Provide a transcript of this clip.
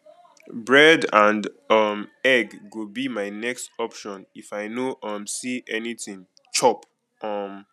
bread and um egg go be my next option if i no um see anything chop um